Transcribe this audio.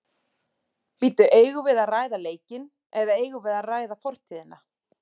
Bíddu eigum við að ræða leikinn eða eigum við að ræða fortíðina?